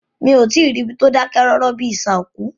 Mí o tí ì rí ibi tí o dákẹ́ rọ́rọ́ bíi isà òkú.